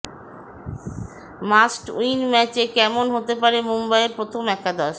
must win ম্যাচে কেমন হতে পারে মুম্বইয়ের প্রথম একাদশ